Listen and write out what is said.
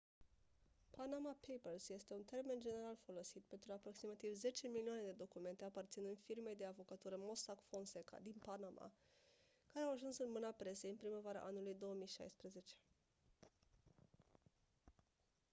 panama papers este un termen general folosit pentru aproximativ zece milioane de documente aparținând firmei de avocatură mossack fonseca din panama care au ajuns în mâna presei în primăvara anului 2016